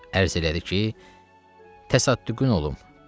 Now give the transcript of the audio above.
Ərz elədi ki, təsəddüqün olum.